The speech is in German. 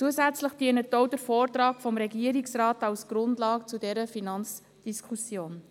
Zusätzlich dient auch der Vortrag des Regierungsrates als Grundlage für diese Finanzdiskussion.